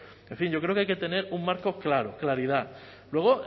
en fin yo creo que hay que tener un marco claro claridad luego